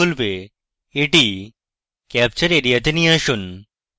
এটি ক্যাপচার এরিয়াতে নিয়ে আসুন